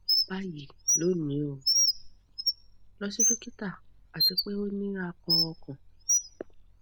bayi loni o lọ si dokita ati pe o ni akàn ọkan